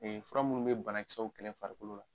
fura munnu be bana kisɛw kɛlɛ farikolo la